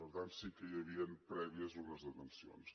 per tant sí que hi havien prèvies unes detencions